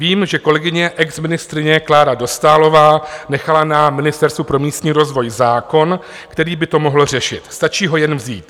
Vím, že kolegyně exministryně Klára Dostálová nechala na Ministerstvu pro místní rozvoj zákon, který by to mohl řešit, stačí ho jen vzít.